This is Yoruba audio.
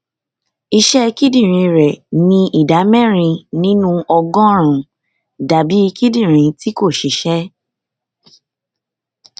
iṣẹ kidinrin rẹ ní ìdá mẹrin nínú ọgọrùnún dàbí kidinrin tí kò ṣiṣẹ